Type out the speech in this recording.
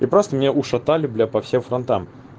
и просто меня ушатали бля по всем фронтам